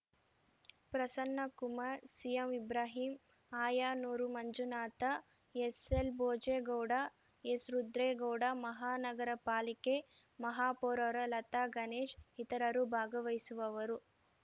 ಪ್ರಸನ್ನಕುಮಾರ್‌ ಸಿಎಂಇಬ್ರಾಹಿಂ ಆಯನೂರು ಮಂಜುನಾಥ ಎಸ್‌ಎಲ್‌ಭೋಜೇಗೌಡ ಎಸ್‌ರುದ್ರೇಗೌಡ ಮಹಾನಗರಪಾಲಿಕೆ ಮಹಾಪೌರರು ಲತಾಗಣೇಶ್‌ ಇತರರು ಭಾಗವಹಿಸುವವರು